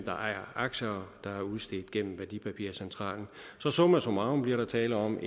ejer aktier der er udstedt gennem værdipapircentralen summa summarum bliver der tale om